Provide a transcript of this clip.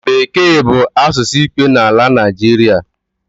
Bekee bụ asụsụ ikpe n’ala Naịjịrịa